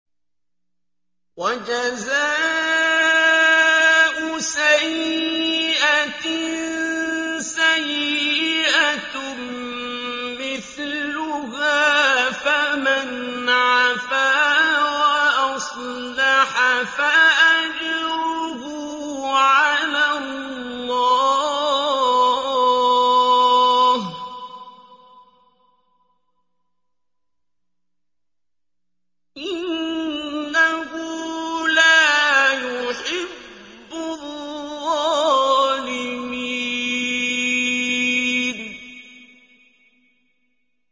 وَجَزَاءُ سَيِّئَةٍ سَيِّئَةٌ مِّثْلُهَا ۖ فَمَنْ عَفَا وَأَصْلَحَ فَأَجْرُهُ عَلَى اللَّهِ ۚ إِنَّهُ لَا يُحِبُّ الظَّالِمِينَ